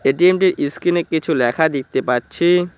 এটিএমটির স্কিনে কিছু লেখা দেখতে পাচ্ছি।